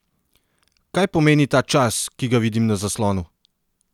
Kaj pomeni ta čas, ki ga vidim na zaslonu?